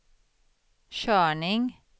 körning